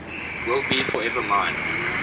will be forever mine